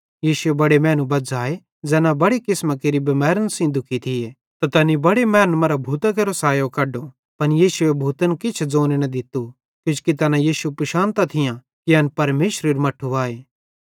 यीशुए बड़े मैनू बज़्झ़ाए ज़ैना बड़े किसमां केरि बिमैरन सेइं दुखी थिये त तैनी बड़े मैनन् मरां भूतां केरो सायो कड्डो पन यीशुए भूतन किछ ज़ोने न दित्तू किजोकि तैना यीशु पिशानतां थियां कि एन परमेशरेरू मट्ठू आए